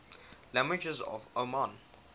languages of oman